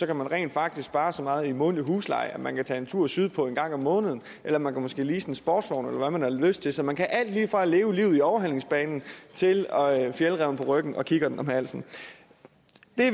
kan man rent faktisk spare så meget i månedlig husleje at man kan tage en tur sydpå en gang om måneden eller man kan måske lease en sportsvogn eller hvad man har lyst til så man kan alt lige fra at leve livet i overhalingsbanen til fjällräven på ryggen og kikkerten om halsen